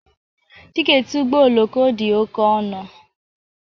Tiketi ụgbọ oloko dị oke ọnụ